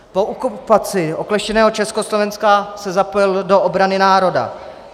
Po okupaci okleštěného Československa se zapojil do obrany národa.